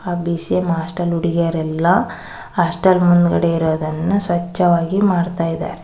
BCM hostel ಹುಡುಗಿಯರೆಲ್ಲ hostel ಮುಂದ್ಗಡೆ ಇರೋದನ್ನ ಸ್ವಚ್ಛವಾಗಿ ಮಾಡ್ತಾಯಿದ್ದಾರೆ.